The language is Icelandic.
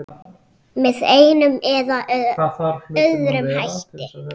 Með einum eða öðrum hætti.